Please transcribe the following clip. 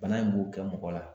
Bana in b'o kɛ mɔgɔ la